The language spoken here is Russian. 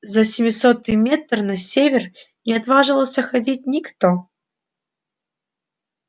за семисотый метр на север не отваживался ходить никто